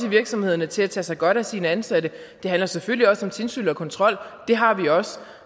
virksomhederne til at tage sig godt af sine ansatte det handler selvfølgelig også om tilsyn og kontrol og det har vi også